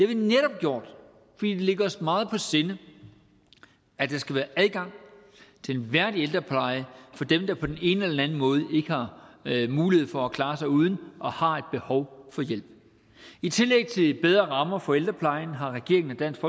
vi netop gjort fordi det ligger os meget på sinde at der skal være adgang til en værdig ældrepleje for dem der på den ene eller den anden måde ikke har mulighed for at klare sig uden og har et behov for hjælp i tillæg til de bedre rammer for ældreplejen har regeringen og dansk